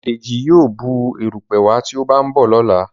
Deji yíò Bù erùpẹ̀ wá tí o ba nbọ lọla